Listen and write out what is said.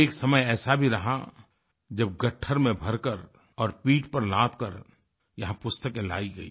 एक समय ऐसा भी रहा जब गट्ठर में भरकर और पीठ पर लादकर यहाँ पुस्तकें लाई गई